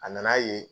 A nan'a ye